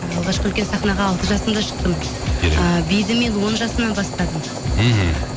алғашқы үлкен сахнаға алты жасымда шықтым биді мен он жасымнан бастадым мхм